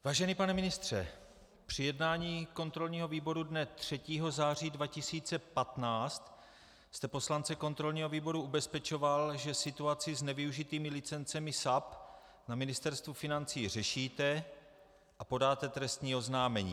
Vážený pane ministře, při jednání kontrolního výboru dne 3. září 2015 jste poslance kontrolního výboru ubezpečoval, že situaci s nevyužitými licencemi SAP na Ministerstvu financí řešíte a podáte trestní oznámení.